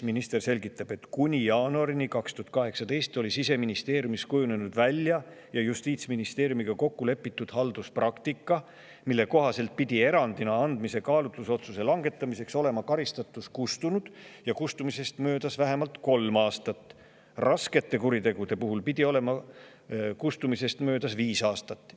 Minister selgitab seal, et kuni jaanuarini 2018 oli Siseministeeriumis välja kujunenud ja Justiitsministeeriumiga kokku lepitud halduspraktika, mille kohaselt pidi erandina andmise kaalutlusotsuse langetamiseks olema karistatus kustunud ja sellest möödas vähemalt kolm aastat, raskete kuritegude puhul pidi olema kustumisest möödas viis aastat.